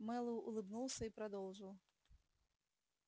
мэллоу улыбнулся и продолжил